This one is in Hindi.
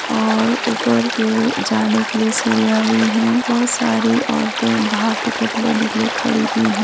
और ऊपर के जाने के लिये सीढ़ियाँ भी है और सारी औरते बाहर टिकट लेने के लिये खड़ी भी हैं |